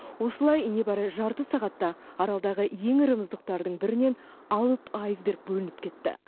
осылай небәрі жарты сағатта аралдағы ең ірі мұздықтардың бірінен алып айсберг бөлініп кетті